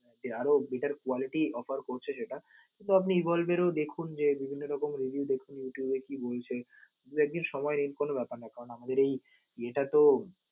আরও better quality offer করছে সেটা এরপর আপনি ও দেখুন যে বিভিন্ন রকম review দেখুন youtube এ কি বলছে দুই একদিন সময় নিন কোন ব্যাপার না কারণ আমাদের এই এটা তো